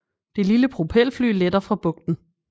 Det lille propelfly letter fra bugten